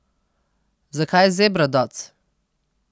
Zakaj Zebra Dots?